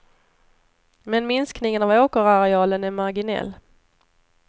Men minskningen av åkerarealen är marginell.